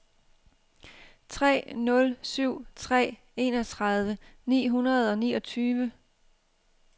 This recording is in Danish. tre nul syv tre enogtredive ni hundrede og niogtyve